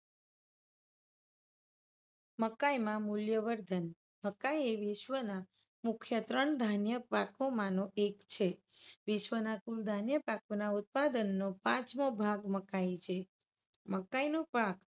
મકાઇ માં મુલ્ય વર્ધન -મકાઇ એ વિશ્વના મુખ્ય ત્રણ ધાન્ય પાકોમાં નો એક છે. વિશ્વના કુલ ધાન્ય પાકોના ઉત્પાદનનો પાંચમો ભાગ મકાઇ છે. મકાઇનો પાક